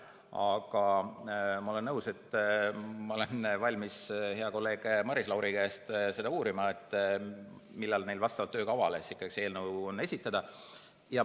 Aga ma olen valmis hea kolleegi Maris Lauri käest seda uurima, millal neil vastavalt töökavale see eelnõu on plaanis esitada.